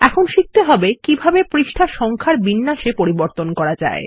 এখন শিখতে হবে কিভাবে পৃষ্ঠা সংখ্যার বিন্যাস এ পরিবর্তন করা যায়